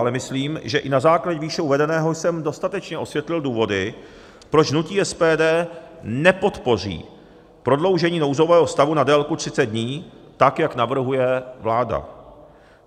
Ale myslím, že i na základě výše uvedeného jsem dostatečně osvětlil důvody, proč hnutí SPD nepodpoří prodloužení nouzového stavu na délku 30 dní, tak jak navrhuje vláda.